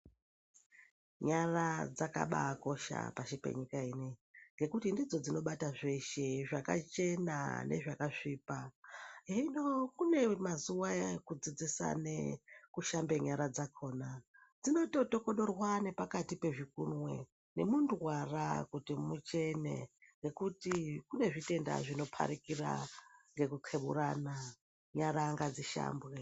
Nyara dzakabakosha pasi penyika inoiyi ngekuti ndidzo dzinobata zveshe zvakachena nezvakasvipa. Hino kune mazuva aya ekudzidzisane kushamba nyara dzakona dzinototokodorwa nepakati pezvikunwe nemundwara kuti muchene. Nekuti kune zvitenda zvinoparikira ngekukeburana nyara ngadzishambwe.